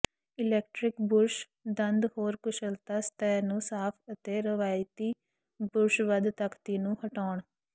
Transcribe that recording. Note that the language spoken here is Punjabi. ਇਲੈਕਟ੍ਰਿਕ ਬੁਰਸ਼ ਦੰਦ ਹੋਰ ਕੁਸ਼ਲਤਾ ਸਤਹ ਨੂੰ ਸਾਫ਼ ਅਤੇ ਰਵਾਇਤੀ ਬੁਰਸ਼ ਵੱਧ ਤਖ਼ਤੀ ਨੂੰ ਹਟਾਉਣ